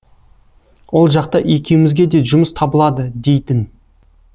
ол жақта екеумізге де жұмыс табылады дейтін